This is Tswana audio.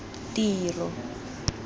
tiro